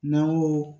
N'an ko